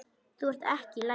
Þú ert ekki í lagi.